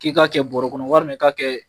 K'i ka kɛ bɔrɔ kɔnɔ walima i k'a ka kɛ